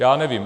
Já nevím.